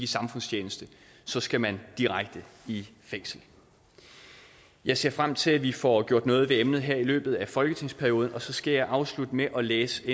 samfundstjeneste så skal man direkte i fængsel jeg ser frem til at vi får gjort noget ved emnet her i løbet af folketingsperioden og så skal jeg afslutte med at læse et